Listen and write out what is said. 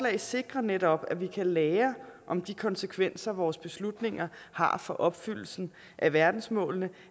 sikrer netop at vi kan lære om de konsekvenser vores beslutninger har for opfyldelsen af verdensmålene